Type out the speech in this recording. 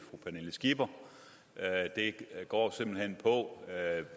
et